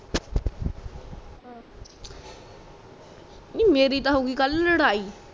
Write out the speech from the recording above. ਨੀ ਮੇਰੀ ਤਾ ਹੋਗੀ ਕਲ ਲੜਾਈ